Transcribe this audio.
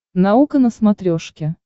наука на смотрешке